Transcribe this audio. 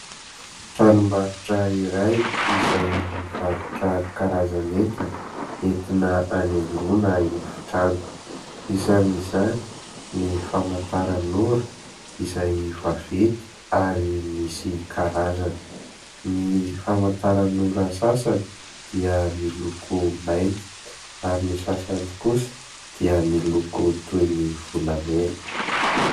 Tranombarotra iray izay mivarotra karazan'entana entina hanaingona efitrano. isan'izany ny famataranora izay vaventy ary misy karazany. Ny famataranora sasany dia miloko mainty ary ny sasany kosa dia miloko toy ny volamena.